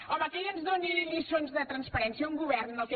home que ell ens doni lliçons de transparència un govern en què